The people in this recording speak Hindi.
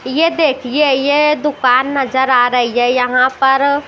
ये देखिए ये दुकान नजर आ रही है यहां पर--